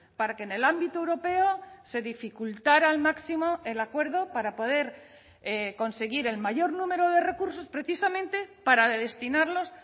para que en el ámbito europeo se dificultara al máximo el acuerdo para poder conseguir el mayor número de recursos precisamente para destinarlos